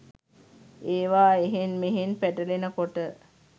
ඒවා එහෙන් මෙහෙන් පැටලෙන කොට